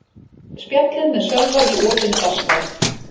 Spjallið með Sölva í opinni dagskrá